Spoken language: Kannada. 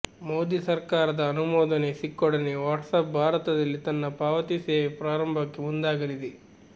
ಮೋದಿ ಸರ್ಕಾರದ ಅನುಮೋದನೆ ಸಿಕ್ಕೊಡನೆ ವಾಟ್ಸಪ್ ಭಾರತದಲ್ಲಿ ತನ್ನ ಪಾವತಿ ಸೇವೆ ಪ್ರಾರಂಭಕ್ಕೆ ಮುಂದಾಗಲಿದೆ